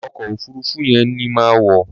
Ọkọ̀ òfuruufú yẹn ni màá wọ̀.